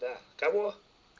да кого